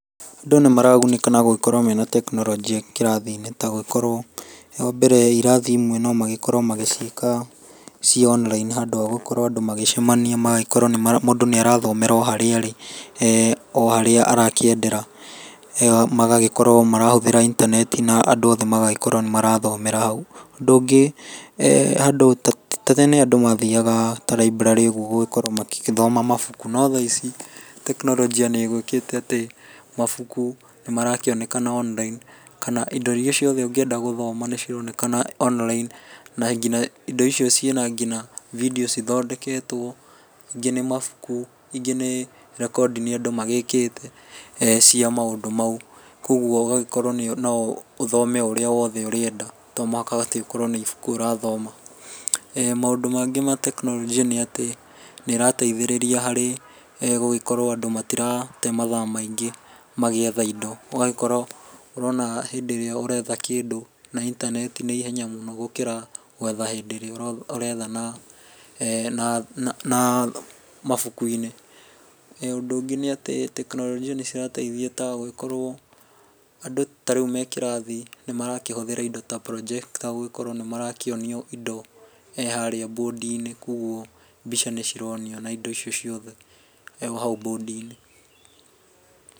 Andũ nĩmaragunĩka na gũgĩkorwo mena tekinoronjĩ kĩrathi-inĩ ta gũgĩkorwo, wa mbere irathi imwe no magĩkorwo magĩciĩka ciĩ online handũ ha gũkorwo andũ magĩcamania, magĩkorwo mũndũ nĩ arathomera o harĩa arĩ eeh o harĩa arakĩendera. Magagĩkorwo marahũthĩra intaneti na andũ othe magagĩkorwo nĩ marathomera hau. Ũndũ ũngĩ, eeh ta tene andũ mathiaga ta library ũguo gũgĩkorwo magĩgĩthoma mabuku, no thaa ici tekinoronjia nĩ ĩgĩũkĩte atĩ mabuku nĩmarakĩonekana online, kana indo iria ciothe ũngĩenda gũthoma nĩcironekana online, na nginya indo icio ciĩ na nginya bindiũ cithondeketwo, ingĩ nĩ mabuku, ingĩ nĩ recording andũ magĩkĩte cia maũndũ mau. Kogwo ũgagĩkorwo no ũthome o ũrĩa wothe ũrĩenda, to mũhaka atĩ ũkorwo atĩ nĩ ibuku ũrathoma. eeh Maũndũ mangĩ ma tekinoronjia nĩ atĩ nĩĩrateithĩrĩria harĩ gũkorwo atĩ nĩĩrateithĩrĩria harĩ gũgĩkorwo andũ matirate mathaa maingĩ magĩetha indo. Ũgagĩkorwo ũrona hĩndĩ ĩrĩa ũretha kĩndũ na intaneti nĩ ihenya mũno gũkĩra gwetha hĩndĩ ĩrĩa ũretha na eeh mabuku-inĩ. Ũndũ ũngĩ nĩ atĩ tekinoronjia nĩcirateithia ta gũgĩkorwo andũ ta rĩu me kĩrathi nĩmarakĩhũthĩra indo ta projector gũgĩkorwo nĩmarakĩonio indo harĩa mbũndi-inĩ, koguo mbica nĩcironio na indo icio ciothe o hau mbũndi-inĩ.